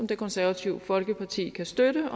det konservative folkeparti støtte